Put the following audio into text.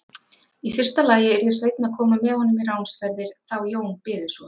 Í fyrsta lagi yrði Sveinn að koma með honum í ránsferðir þá Jón byði svo.